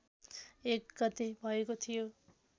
१ गते भएको थियो